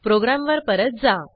प्रोग्रॅमवर परत जा